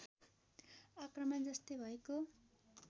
आक्रमण जस्तै भएको